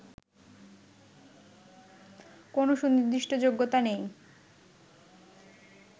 কোন সুনির্দিষ্ট যোগ্যতা নেই